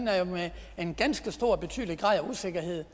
en ganske betydelig grad af usikkerhed